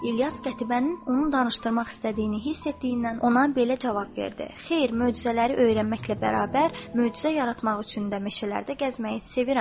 İlyas Qətibənin onun danışdırmaq istədiyini hiss etdiyindən ona belə cavab verdi: Xeyr, möcüzələri öyrənməklə bərabər, möcüzə yaratmaq üçün də meşələrdə gəzməyi sevirəm.